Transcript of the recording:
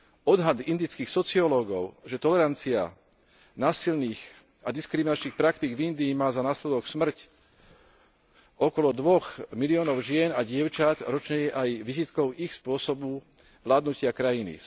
Odhad indických sociológov, že tolerancia násilných a diskriminačných praktík v Indii má za následok smrť okolo dvoch miliónov žien a dievčat ročne, je aj vizitkou ich spôsobu vládnutia krajiny.